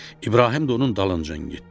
İbrahim də onun dalınca getdi.